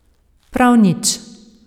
Prav nič.